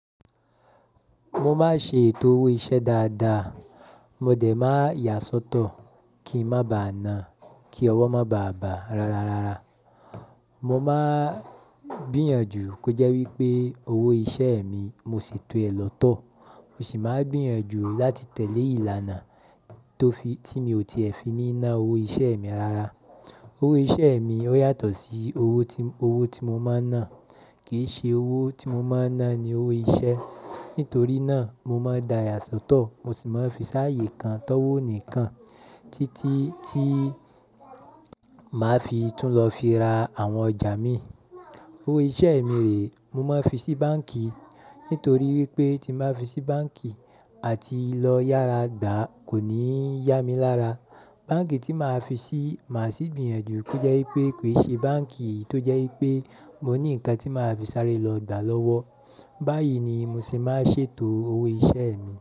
Mo máa ń ṣe ètò owó iṣẹ́ dáadáa. Mo dẹ̀ máa ya sọ́tọ̀ kí ń má ba à ná, kí ọwọ́ má ba à bà rara. Mo máa ń gbìyànjú kí ó jẹ́ wípé owó iṣẹ́ mi mo se tò ẹ lọ́tọ̀. Mo sì máa ń gbìyànjú láti tẹ̀lé ìlànà tí mi ò tiẹ̀ fi ní ná owó iṣẹ́ mi rara. Owó iṣẹ́ mi ó yàtọ̀ sí owó tí mo máa ń ná. Kì í ṣe owó tí mo máa ń ná ni owó iṣẹ́. Nítorí náà mo máa ń daya sọ́tọ̀, mo sì máa ń fi sáààyè kan tọ́wọ́ ó nì kan títí tí màá fi tún lọ fi ra àwọn ọjà mìí. Owó iṣẹ́ mi rè, mo máa ń fi sí báǹkì. Nítorí wípé tí màá fi sí báǹkì àti lọ yára gbà kò ní yá mi lára. Báǹkì tí màá fi sí, màá sì gbìyànjú kó jẹ́ wípé kì í ṣe báǹkì tó jẹ́ wípé mo ní ǹkan tí màá fi sáré lọ gbà lọ́wọ́. Báyìí ni mo sì máa ń ṣètò owó iṣẹ́ mi.